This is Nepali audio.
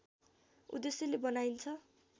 उद्देश्यले बनाइन्छ